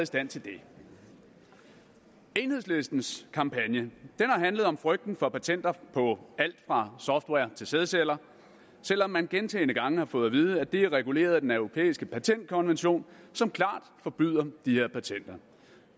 stand til det enhedslistens kampagne har handlet om frygten for patenter på alt fra software til sædceller selv om man gentagne gange har fået at vide at det er reguleret af den europæiske patentkonvention som klart forbyder de her patenter